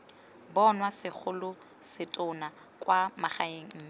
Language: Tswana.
bonwa segolosetonna kwa magaeng mme